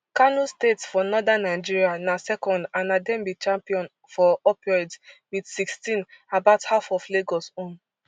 kano state for northern nigeria na second and na dem be champion for opioids wit sixteen about half of lagos own